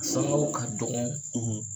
Sangaw ka dɔgɔn.